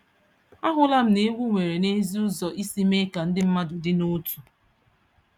Ahụla m na egwu nwere n'ezie ụzọ isi mee ka ndị mmadụ dị n'otu.